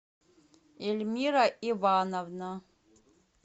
эльмира ивановна